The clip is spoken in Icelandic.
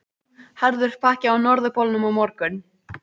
Harður pakki á Norðurpólnum á morgun